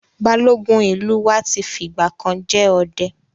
Balógun ìlú wa ti fi ìgbà kan jẹ ọdẹ.